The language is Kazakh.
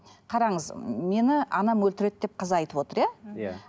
қараңыз мені анам өлтіреді деп қыз айтып отыр иә иә